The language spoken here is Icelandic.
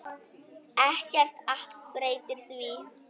Ekkert app breytir því.